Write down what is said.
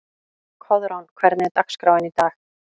Koðrán, hvernig er dagskráin í dag?